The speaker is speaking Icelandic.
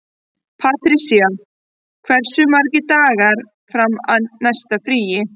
Patrisía, hversu margir dagar fram að næsta fríi?